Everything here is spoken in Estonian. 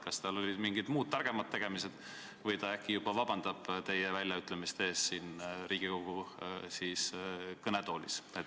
Kas tal olid mingid muud, targemad tegemised või ta juba äkki vabandab teie väljaütlemiste eest siin Riigikogu kõnetoolis?